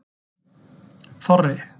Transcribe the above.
Þorri